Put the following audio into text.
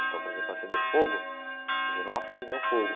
Então, por exemplo, acender fogo, a gente não acende nem o fogo.